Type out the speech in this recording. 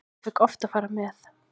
Ég fékk oft að fara með.